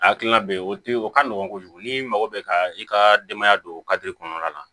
Hakilina bɛ yen o tɛ o ka nɔgɔn kojugu n'i mago bɛ ka i ka denbaya don kɔnɔna la